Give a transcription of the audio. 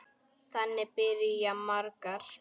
Þannig byrja margar.